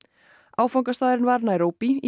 áfangastaðurinn var Naíróbí í